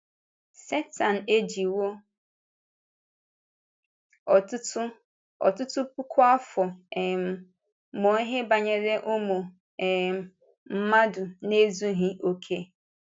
Sẹtán ejiwò ọtụtụ ọtụtụ puku afọ um mụọ ihe banyere ụmụ um mmadụ na-ezughị okè.